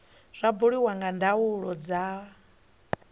zwa buliwa nga ndaulo dza